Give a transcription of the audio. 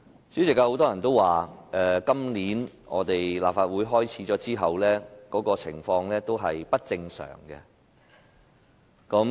主席，有很多人都說，新一個立法會會期開始後，會議的情況是不正常的。